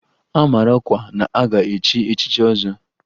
A mara ọkwa na-aga echi echichi ọzọ